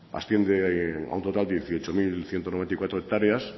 asciende a un total de dieciocho mil ciento noventa y cuatro hectáreas